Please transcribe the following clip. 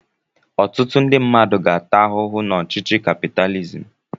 Ọtụtụ ndị mmadụ ga-ata ahụhụ n'ọchịchị kapitalizim.